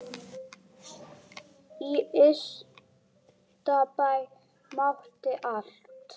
Í Ystabæ mátti allt.